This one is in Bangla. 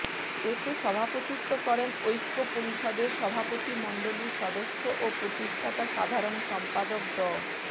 এতে সভাপতিত্ব করেন ঐক্য পরিষদের সভাপতিমণ্ডলির সদস্য ও প্রতিষ্ঠাতা সাধারণ সম্পাদক ড